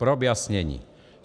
Pro vyjasnění.